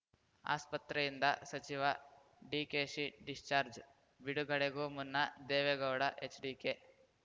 ಆಸ್ಪತ್ರೆಯಿಂದ ಸಚಿವ ಡಿಕೆಶಿ ಡಿಸ್ಚಾರ್ಜ್ ಬಿಡುಗಡೆಗೂ ಮುನ್ನ ದೇವೇಗೌಡ ಎಚ್‌ಡಿಕೆ